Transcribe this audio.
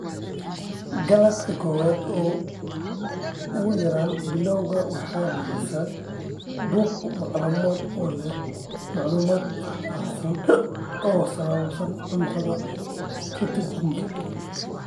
GLUT kowaad ugu yaraan bilowga waxay bixisaa bog macluumaad oo leh macluumaad faahfaahsan oo ku saabsan cuntada ketogenic.